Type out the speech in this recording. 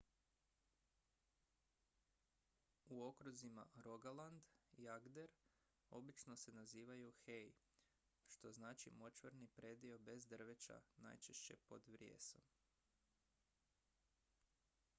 "u okruzima rogaland i agder obično se nazivaju "hei" što znači močvarni predio bez drveća najčešće pod vrijesom.